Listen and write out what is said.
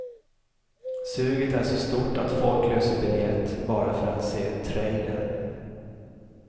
Suget är så stort att folk löser biljett bara för att se trailern.